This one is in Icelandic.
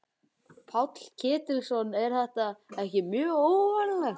Páll Ketilsson: En er þetta ekki mjög óvanalegt?